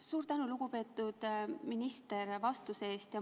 Suur tänu, lugupeetud minister, vastuse eest!